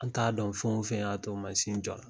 An t'a dɔn fɛn o fɛn y'a to mansin jɔla.